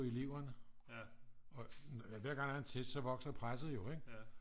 Eleverne og hver gang der er en test så vokser presset jo ikke